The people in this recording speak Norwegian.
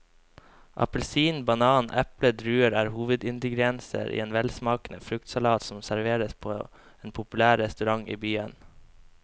Appelsin, banan, eple og druer er hovedingredienser i en velsmakende fruktsalat som serveres på en populær restaurant i byen.